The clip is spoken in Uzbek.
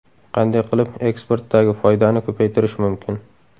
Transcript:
Qanday qilib eksportdagi foydani ko‘paytirish mumkin?